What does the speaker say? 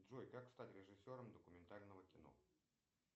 джой как стать режиссером документального кино